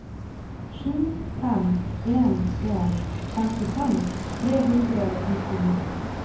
sju fem en en femtifem tre hundre og nittini